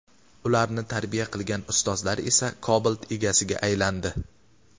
Ularni tarbiya qilgan ustozlari esa Cobalt egasiga aylandi.